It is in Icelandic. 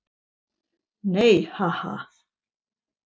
Nei, ha, ha.